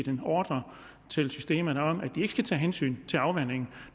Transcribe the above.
en ordre til systemet om at de ikke skal tage hensyn til afvanding